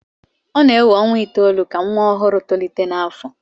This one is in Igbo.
ọ na-ewe ọnwa itoolu ka nwa ọhụrụ tolite n'afọ